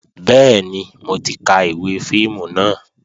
Bẹ́ẹ̀ni, mo ti ka ìwé fíìmù náà